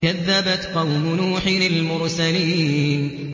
كَذَّبَتْ قَوْمُ نُوحٍ الْمُرْسَلِينَ